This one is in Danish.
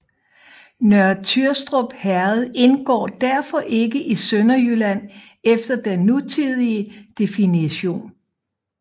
Nørre Tyrstrup Herred indgår derfor ikke i Sønderjylland efter den nutidige definition